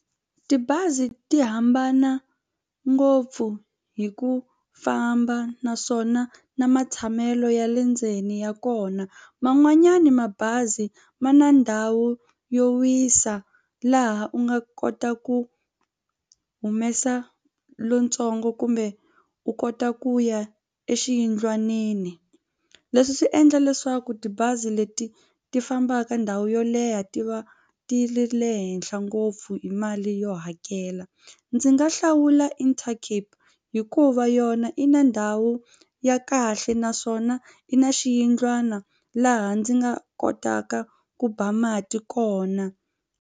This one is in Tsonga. Tibazi ti hambana ngopfu hi ku famba naswona na matshamelo ya le ndzeni ya kona man'wanyana mabazi ma na ndhawu yo wisa laha u nga kota ku humesa lontsongo kumbe u kota ku ya exiyindlwanini. Leswi swi endla leswaku tibazi leti ti fambaka ndhawu yo leha ti va ti ri le henhla ngopfu hi mali yo hakela ndzi nga hlawula Intercape hikuva yona i na ndhawu ya kahle naswona i na xiyindlwana laha ndzi nga kotaka ku ba mati kona.